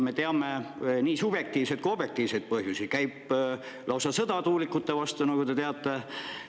Me teame nii subjektiivseid kui ka objektiivseid põhjusi, käib lausa sõda tuulikute vastu, nagu teiegi teate.